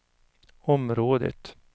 området